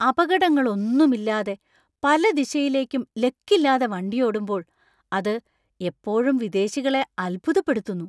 അപകടങ്ങളൊന്നുമില്ലാതെ പല ദിശയിലേക്കും ലക്കില്ലാതെ വണ്ടിയോടുമ്പോള്‍ അത് എപ്പോഴും വിദേശികളെ അത്ഭുതപ്പെടുത്തുന്നു.